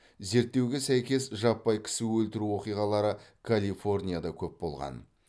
зерттеуге сәйкес жаппай кісі өлтіру оқиғалары калифорнияда көп болған